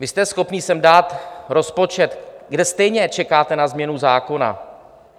Vy jste schopni sem dát rozpočet, kde stejně čekáte na změnu zákona.